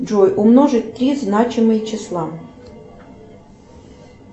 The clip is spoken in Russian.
джой умножить три значимые числа